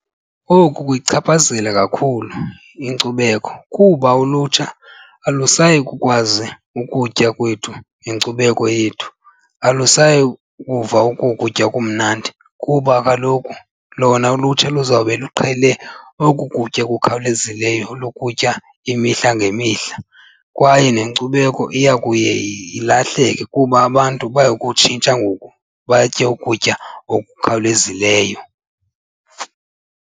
Oku kuyichaphazela kakhulu inkcubeko kuba ulutsha alusayi kukwazi ukutya kwethu nenkcubeko yethu, alisayi kuva oko kutya kumnandi. Kuba kaloku lona ulutsha luzawube luqhele oku kutya kukhawulezileyo lokutya imihla ngemihla kwaye nenkcubeko iya kuye ilahleke kuba abantu baya kutshintsha ngoku batye ukutya okukhawulezileyo.